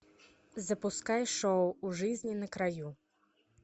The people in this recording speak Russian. запускай шоу у жизни на краю